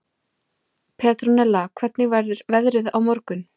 Petronella, hvernig verður veðrið á morgun?